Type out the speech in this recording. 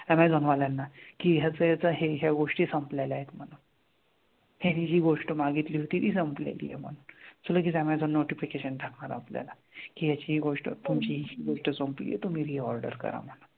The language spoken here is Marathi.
ऍमेझॉन वाल्यांना कि असं असं हे हे गोष्टी संपलेल्या आहेत म्हणून. हे हि गोष्ट मागितली होती ती संपलेली आहे म्हणून. So लगेच ऍमेझॉन notification टाकणार आपल्याला कि ह्याची हि गोष्ट तुमची हि गोष्ट संपली आहे तुम्ही reorder करा म्हणून.